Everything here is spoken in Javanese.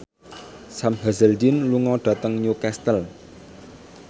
Sam Hazeldine lunga dhateng Newcastle